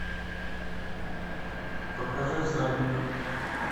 покажи всадник